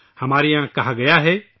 ہمارے یہاں کہا گیا ہے